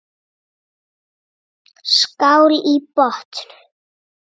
Skál í botn!